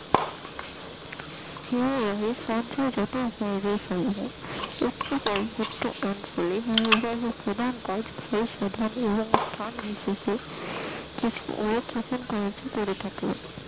হিমবাহের সঞ্চয় উচ্চক্ষয় যুক্ত অঞ্চলে হিমবাহের প্রধান কাজ হয় ক্ষয় সাধন এবং স্থান বিশেষে করে থাকে,